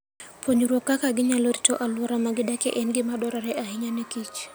Puonjruok kaka ginyalo rito alwora ma gidakie en gima dwarore ahinya ne kich.